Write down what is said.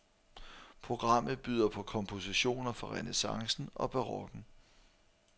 Programmet byder på kompositioner fra renæssancen og barokken.